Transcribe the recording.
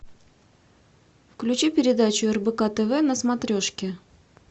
включи передачу рбк тв на смотрешке